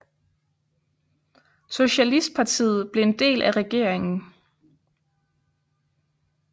Socialistpartiet blev en del af regeringen